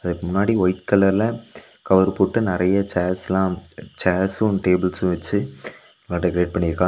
அதுக்கு முன்னாடி ஒயிட் கலர்ல கவர் போட்டு நெறையா சேர்ஸ்லா சேர்ஸ்சு டேபிள்ஸ்சு வெச்சு அத டெக்கரேட் பண்ணிருக்கா.